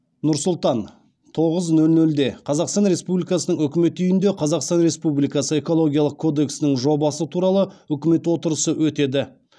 нұр сұлтан тоғыз нөл нөлде қазақстан республикасының үкімет үйінде қазақстан республикасы экологиялық кодексінің жобасы туралы үкімет отырысы өтеді